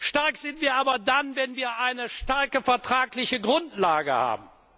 stark. Stark sind wir aber dann, wenn wir eine starke vertragliche Grundlage